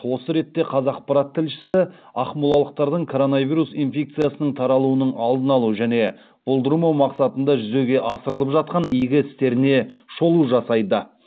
осы ретте қазақпарат тілшісі ақмолалықтардың коронавирус инфекциясының таралуының алдын алу және болдырмау мақсатында жүзеге асырылып жатқан игі істеріне шолу жасайды